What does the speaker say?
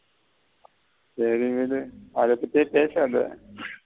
சரி விடு அத பத்தியே பேசதா.